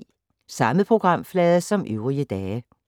Samme programflade som øvrige dage